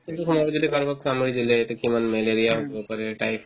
সেইটোত সোমাব যদি কাৰোবাক কামুৰি দিলে এতিয়া কিমান malaria হ'ব পাৰে typhoid